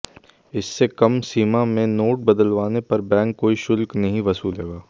इससे कम सीमा में नोट बदलवाने पर बैंक कोई शुल्क नहीं वसूलेगा